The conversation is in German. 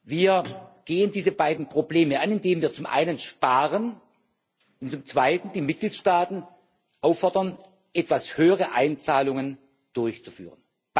Wir gehen diese beiden Probleme an, indem wir zum einen sparen und zum Zweiten die Mitgliedstaaten auffordern, etwas höhere Einzahlungen durchzuführen.